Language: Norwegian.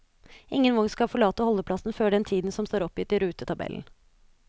Ingen vogn skal forlate holdeplassen før den tiden som står oppgitt i rutetabellen.